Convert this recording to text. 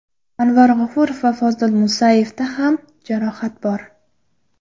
Anvar G‘ofurov va Fozil Musayevda ham jarohat bor.